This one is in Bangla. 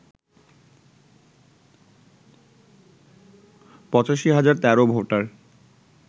৮৫ হাজার ১৩ ভোটার